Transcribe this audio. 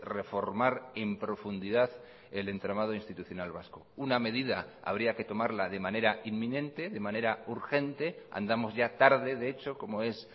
reformar en profundidad el entramado institucional vasco una medida habría que tomarla de manera inminente de manera urgente andamos ya tarde de hecho como es